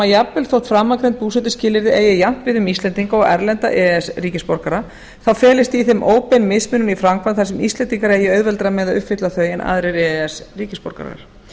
jafnvel þótt framangreind búsetuskilyrði eigi jafnt við um íslendinga og erlenda e e s ríkisborgara þá felist í þeim óbein mismunun í framkvæmd þar sem íslendingar eigi auðveldara með að uppfylla þau en aðrir e e s ríkisborgarar